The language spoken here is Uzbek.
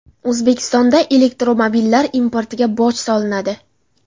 O‘zbekistonda elektromobillar importiga boj solinadi.